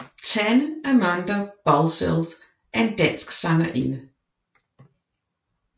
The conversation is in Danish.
Tanne Amanda Balcells er en dansk sangerinde